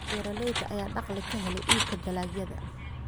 Beeralayda ayaa dakhli ka hela iibka dalagyada.